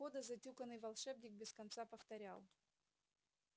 у входа затюканный волшебник без конца повторял